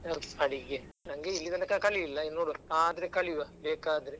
ಯಾವ್ದು ಅಡಿಗೆ ನಂಗೆ ಇಲ್ಲಿ ತನಕ ಕಲೀಲಿಲ್ಲ ಇನ್ನು ನೋಡುವಾ ಆದ್ರೆ ಕಲಿವ ಬೇಕಾದ್ರೆ.